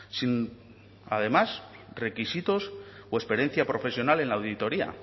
sin además requisitos o experiencia profesional en la auditoría